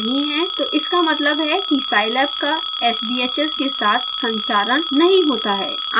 यदि यह केस नहीं है तो इसका मतलब है कि scilab का sbhs के साथ संचारण नहीं होता है